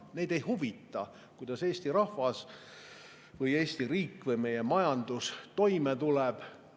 Neid ei huvita, kuidas Eesti rahvas või Eesti riik või meie majandus toime tuleb.